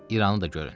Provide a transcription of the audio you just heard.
İranı da görün.